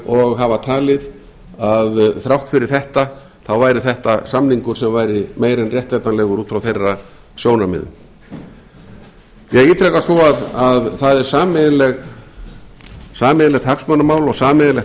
og hafa talið að þrátt fyrir þetta væri þetta samningur sem væri meira en réttlætanlegur út frá þeirra sjónarmiðum ég ítreka svo að það er sameiginlegt